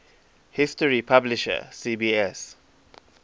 history publisher cbs